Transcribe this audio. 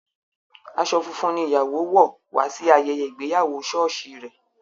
Aṣọ funfun ní ìyàwó wò wá sí ayẹyẹ ìgbéyàwó sọ́ọ̀sì rè.